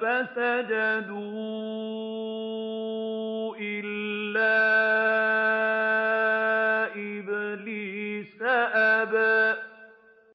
فَسَجَدُوا إِلَّا إِبْلِيسَ أَبَىٰ